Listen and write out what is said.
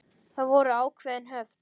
Það voru ákveðin höft.